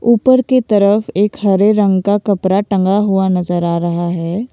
ऊपर की तरफ एक हरे रंग का कपड़ा टंगा हुआ नजर आ रहा है।